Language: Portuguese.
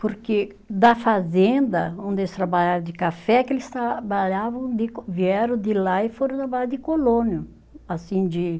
Porque da fazenda, onde eles trabalharam de café, que eles trabalhavam de, vieram de lá e foram trabalhar de colono, assim de